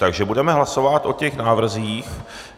Takže budeme hlasovat o těch návrzích.